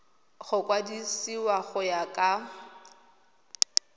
go kwadisiwa go ya ka